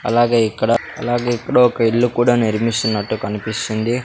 అలాగే ఇక్కడ అలాగే ఇక్కడ ఒక ఇల్లు కూడా నిర్మిస్తున్నట్టు కనిపిస్తుంది--